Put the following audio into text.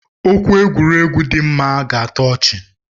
Okwu egwuregwu dima ga atọ ọchi.